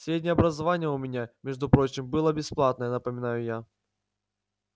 среднее образование у меня между прочим было бесплатное напоминаю я